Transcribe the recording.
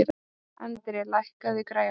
André, lækkaðu í græjunum.